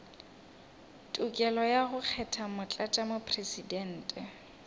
tokelo ya go kgetha motlatšamopresidente